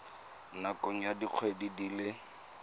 nakong ya dikgwedi di le